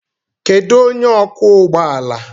Kedu onye ọkwọ ụgbọ ala?